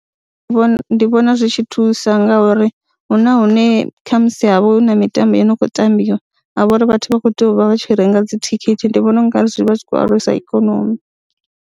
Ndi vhona ndi vhona zwi tshi thusa ngauri hu na hune kha musi ha vha hu na mitambo ine ya khou tambiwa ha vha uri vhathu vha khou tea u vha vha tshi renga dzithikhithi, ndi vhona u nga zwi vha zwi khou alusa ikonomi.